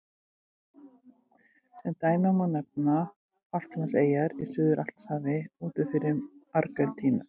Sem dæmi má nefna Falklandseyjar í Suður-Atlantshafi úti fyrir Argentínu.